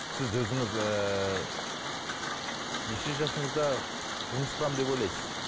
сіз өзіңіз ііі неше жасыңызда тұрмыс құрамын деп ойлайсыз